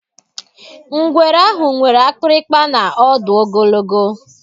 Ngwere ahụ nwere akpịrịkpa na ọdụ ogologo.